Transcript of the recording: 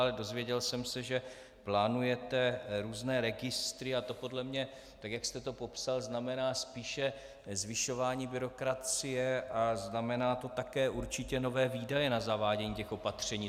Ale dozvěděl jsem se, že plánujete různé registry, a to podle mě, tak jak jste to popsal, znamená spíše zvyšování byrokracie a znamená to také určitě nové výdaje na zavádění těch opatření.